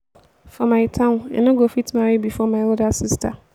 for my town i no go fit marry before my elder sister